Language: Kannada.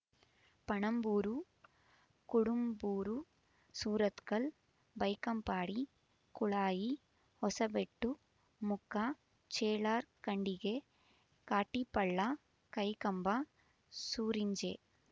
ಪಣಂಬೂರು ಕುಡುಂಬೂರು ಸುರತ್ಕಲ್ ಬೈಕಂಪಾಡಿ ಕುಳಾಯಿ ಹೊಸಬೆಟ್ಟು ಮುಕ್ಕ ಚೇಳಾರ್ ಖಂಡಿಗೆ ಕಾಟಿಪಳ್ಳ ಕೈಕಂಬ ಸೂರಿಂಜೆ